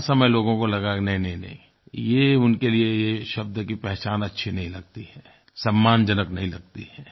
हर समय लोगों को लगा कि नहींनहींनहीं ये उनके लिए ये शब्द की पहचान अच्छी नहीं लगती है सम्मानजनक नहीं लगती है